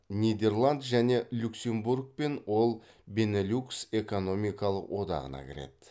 нидерланд және люксембургпен ол бенелюкс экономиялық одағына кіреді